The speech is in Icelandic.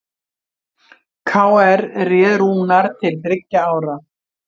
KR réð Rúnar til þriggja ára